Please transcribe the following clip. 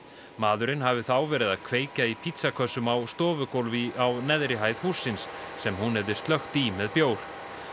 maðurinn hafi þá verið að kveikja í á stofugólfi á neðri hæð hússins sem hún hefði slökkt í með bjór